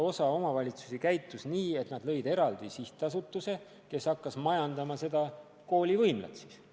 Osa omavalitsusi käitus nii, et nad lõid eraldi sihtasutuse, kes hakkas seda kooli võimlat majandama.